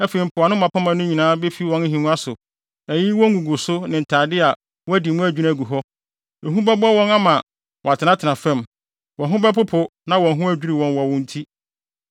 Afei mpoano mmapɔmma no nyinaa befi wɔn nhengua so, ayiyi wɔn nguguso ne ntade a wɔadi mu adwinni agu hɔ. Ehu bɛbɔ wɔn ama wɔatenatena fam, wɔn ho bɛpopo na wɔn ho adwiriw wɔn wɔ wo nti.